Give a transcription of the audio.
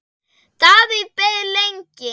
Davíð beið lengi.